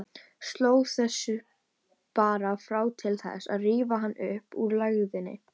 Sló þessu bara fram til þess að rífa hann upp úr lægðinni.